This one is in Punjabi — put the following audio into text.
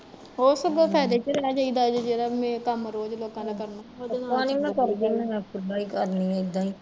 ਇੱਦਾਂ ਫਾਇਦੇ ਚ ਰਹਿ ਜਾਈਦਾ ਵਾ ਜਿਹੜਾ ਕੰਮ ਰੋਜ਼ ਲੋਕਾਂ ਦਾ ਕਰਨਾ ਉਹਦੇ ਨਾਲੋਂ